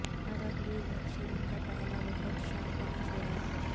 عرب league مبصرین کا پہلا وفد شام پہنچ گیا